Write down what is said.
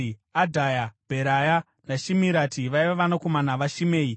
Adhaya, Bheraya naShimirati vaiva vanakomana vaShimei.